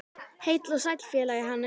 Heill og sæll félagi Hannes!